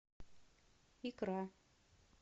икра